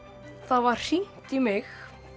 var hringt í mig